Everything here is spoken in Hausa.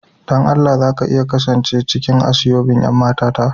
Dan Allah za ki iya kasance cikin aseobin' yan mata ta?